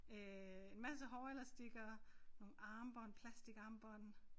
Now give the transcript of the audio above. Øh en masse hårelastikker nogle armbånd plastikarmbånd